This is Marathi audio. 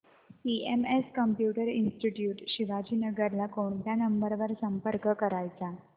सीएमएस कम्प्युटर इंस्टीट्यूट शिवाजीनगर ला कोणत्या नंबर वर संपर्क करायचा